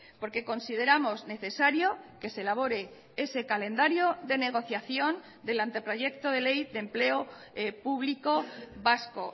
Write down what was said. porque consideramos necesario que se elabore ese calendario de negociación del anteproyecto de ley de empleo público vasco